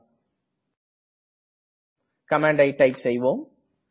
இங்கே கமண்ட்டை டைப் செய்வோம்